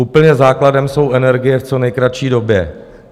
Úplně základem jsou energie v co nejkratší době.